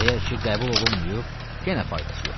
Əgər ki qəbul olunmayıb, yenə faydası yoxdur.